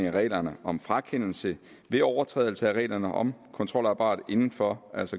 af reglerne om frakendelse ved overtrædelse af reglerne om kontrolapparatet inden for